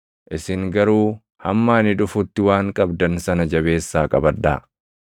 isin garuu hamma ani dhufutti waan qabdan sana jabeessaa qabadhaa.’